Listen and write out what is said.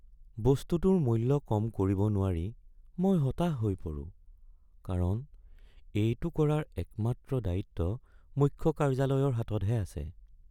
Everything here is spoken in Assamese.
বস্তুটোৰ মূল্য কম কৰিব নোৱাৰি মই হতাশ হৈ পৰোঁ কাৰণ এইটো কৰাৰ একমাত্ৰ দায়িত্ব মুখ্য কাৰ্য্যালয়ৰ হাততহে আছে।